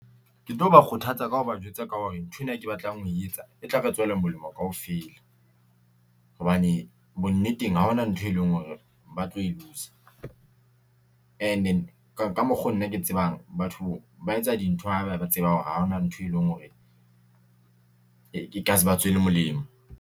Ke tlo ba kgothatsa ka ho ba jwetsa ka hore nthwena ke batlang ho e etsa e tla re tswela molemo kaofela. Hobane bonneteng, ha hona ntho e leng hore ba tlo e . Ene ka mokgo nna ke tsebang batho ba etsa dintho ha ba ba tseba hore ha ona ntho e leng hore e ka se ba tswele molemo.